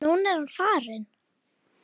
Núna er hann farinn.